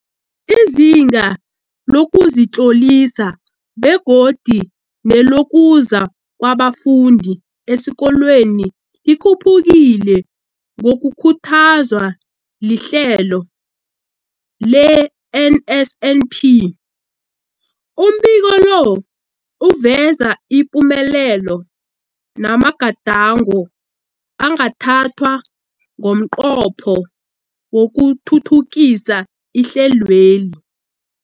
Izinga lokuzitlolisa begodu nelokuza kwabafundi esikolweni likhuphukile ngokukhuthazwa lihlelo le-NSNP. Umbiko lo uveza ipumelelo namagadango angathathwa ngomnqopho wokuthuthukisa ihlelweli.